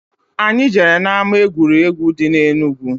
Anyị jere na-ama egwuregwu dị na Enugu.